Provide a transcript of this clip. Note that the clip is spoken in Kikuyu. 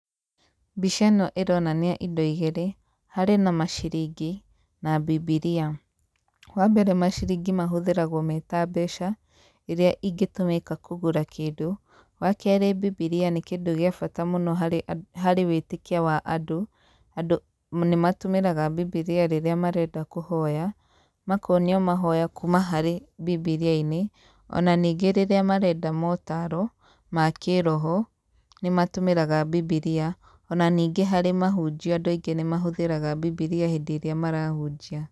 Mbica ĩno ĩronania indo igĩrĩ, harĩ na maciringi, na bibilia .Wa mbere maciringi mahũthĩragwo me ta mbeca, ĩrĩa ingĩtũmĩka kũgũra kĩndũ, wa kerĩ bibilia nĩ kĩndũ gĩa bata mũno harĩ wĩtĩkia wa andũ, andũ nĩ matũmĩraga bibilia rĩrĩa marenda kũhoya, makonio mahoya kuma harĩ bibilia-inĩ,o na ningĩ rĩrĩa marenda motaro, ma kĩĩroho, nĩ matũmĩraga bibilia ,o na ningĩ harĩ mahunjio andũ aingĩ nĩ mahũthĩraga bibilia hĩndĩ ĩrĩa marahunjia.